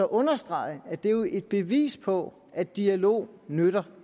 understrege at det jo er et bevis på at dialog nytter